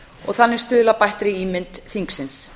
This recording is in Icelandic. og þannig stuðla að bættri ímynd þingsins